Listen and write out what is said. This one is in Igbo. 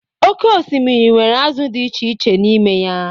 oké osimiri nwere azụ di echiche n'ime ya.